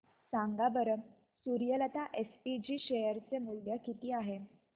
सांगा बरं Suryalata SPG share चे मूल्य किती आहे